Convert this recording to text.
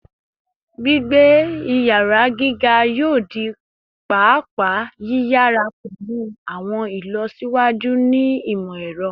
Gbigbe iyara giga yoo di paapaa yiyara pẹlu awọn ilọsiwaju ni imọ-ẹrọ